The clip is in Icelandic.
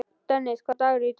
Dennis, hvaða dagur er í dag?